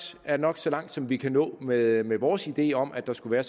er nok så langt som vi kan nå med med vores ideer om at der skulle være